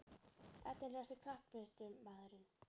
Efnilegasti knattspyrnumaðurinn?